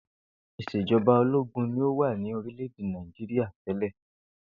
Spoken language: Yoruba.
Ìs̩èjo̩ba ológun ni ó wà ní orílè̩-èdè Nàìjíríà té̩lè̩